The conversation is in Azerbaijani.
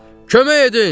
Kömək edin!